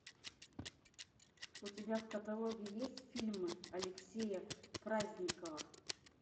у тебя в каталоге есть фильмы алексея праздникова